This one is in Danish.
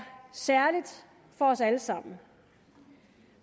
særligt for os alle sammen